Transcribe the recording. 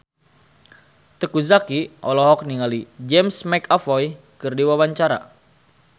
Teuku Zacky olohok ningali James McAvoy keur diwawancara